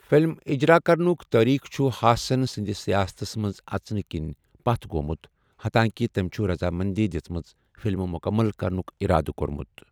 Film اِجرا کرنُک تٲریخ چھُ ہاسن سٕندِ سیاستس منز اژنہٕ کِنۍ پتھ گومُتھ حتاکہِ تمہِ چھُ رضامندی دِژمٕژٕ فِلمہٕ مُکمل کرنُک اِرادٕ کورمُت ۔